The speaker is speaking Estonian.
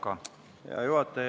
Hea juhataja!